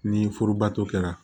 Ni furubato kɛra